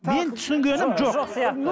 мен түсінгенім жоқ жоқ сияқты